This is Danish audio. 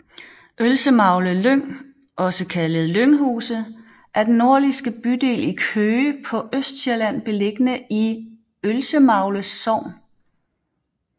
Ølsemagle Lyng også kaldet Lynghuse er den nordligste bydel i Køge på Østsjælland beliggende i Ølsemagle Sogn